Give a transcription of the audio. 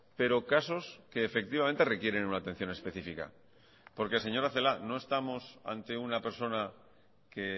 pero casos que efectivamente requieren una atención específica porque señora celaá no estamos ante una persona que